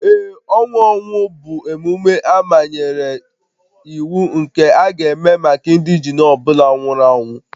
Ee, ọnwụ ọnwụ bụ emume amanyere iwu nke a ga-eme maka indegene ọ bụla nwụrụ anwụ